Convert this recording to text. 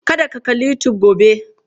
Kada ku kalli YouTube gobe!